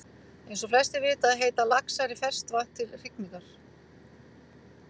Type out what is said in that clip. Eins og flestir vita leita laxar í ferskt vatn til hrygningar.